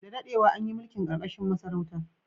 Da dadewa, an yi mulki ƙarƙashin masarauta.